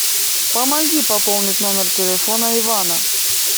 помоги пополнить номер телефона ивана